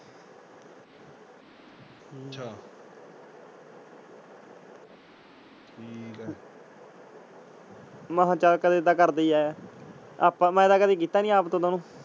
ਮੈਂ ਕਿਹਾ ਚਾਲ ਕਦੇ ਤਾਂ ਕਰਦਾ ਹੀ ਹੈ ਆਪਾਂ ਮੈਂ ਤੇ ਕਦੇ ਕਿੱਤਾ ਨੀ ਆਪਦੇ ਵਲੋਂ।